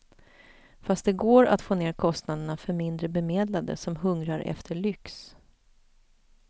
Fast det går att få ner kostnaderna för mindre bemedlade som hungrar efter lyx.